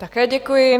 Také děkuji.